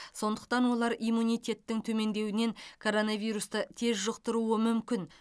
сондықтан олар иммунитеттің төмендеуінен коронавирусты тез жұқтыруы мүмкін